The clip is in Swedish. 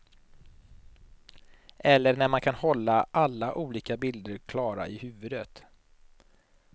Eller när man kan hålla alla olika bilder klara i huvudet.